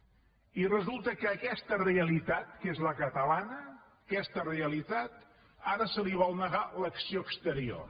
i resulta que a aquesta realitat que és la catalana a aquesta realitat ara se li vol negar l’acció exterior